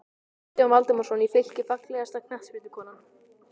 Um sumarið hafði hann komið í Brokey á Breiðafirði.